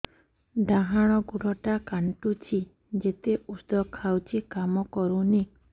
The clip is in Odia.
ଡାହାଣ ଗୁଡ଼ ଟା ଖାନ୍ଚୁଚି ଯେତେ ଉଷ୍ଧ ଖାଉଛି କାମ କରୁନି